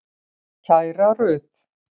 Kæra Rut.